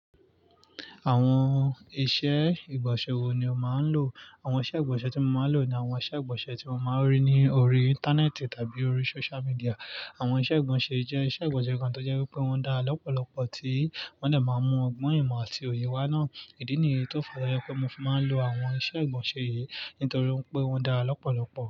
Àwọn iṣẹ́ ìgbọ̀nsẹ̀ wo ni o máa ń lò? Àwọn iṣẹ́ ìgbọ̀nsẹ̀ tí mo máa ń lò ni àwọn iṣẹ́ ìgbọ̀nsẹ̀ tí mo máa ń rí ní orí Íńtánẹ́ẹ̀tì tàbí orí social media. Àwọn iṣẹ́ ìgbọ̀nsẹ̀ jẹ́ iṣẹ́ ìgbọ̀nsẹ̀ kan tó jẹ́ wípé wọ́n dá lọ́pọ̀lọpọ̀ tí wọ́n dè máa ń mú ọgbọ́n ìmọ̀ àti òye wá náà. Ìdí nìyí tó fi wa jẹ́ pé mo fi máa ń lo àwọn iṣẹ́ ìgbọ̀nsẹ̀ yìí nítorí wipé wọ́n dára lọ́pọ̀lọpọ̀.